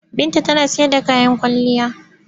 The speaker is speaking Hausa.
Binta tana sayar da kayan kwalliya.